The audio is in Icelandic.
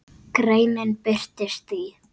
Greinin birtist í